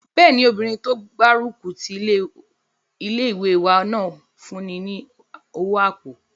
Bẹ́ẹ̀ni, obìnrin tó gbárùkù ti ilé-ìwé náà fún mi ní owó àpò